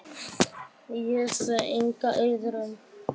Ég sé enga iðrun.